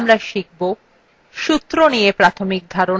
সূত্র নিয়ে প্রাথমিক ধারণা